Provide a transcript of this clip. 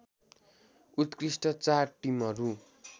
उत्कृष्ट चार टिमहरू